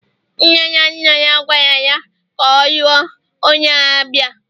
Nne na nna ya gwara ya ka ọ lụọ onye Abia